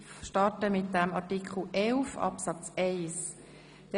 Wir starten mit Artikel 11 Absatz 1.